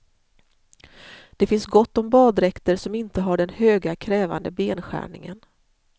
Det finns gott om baddräkter som inte har den höga krävande benskärningen.